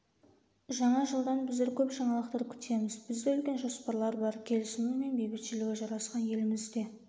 жаңа жылдан біздер көп жаңалықтар күтеміз бізде үлкен жоспарлар бар келісімі мен бейбітшілігі жарасқан елімізде